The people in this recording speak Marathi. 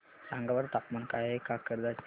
सांगा बरं तापमान काय आहे काकरदरा चे